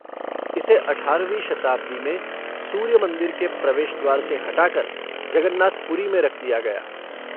इसे अठारहवीं शताब्दी में सूर्य मंदिर के प्रवेश द्वार से हटाकर जगन्नाथ पुरी में रख दिया गया।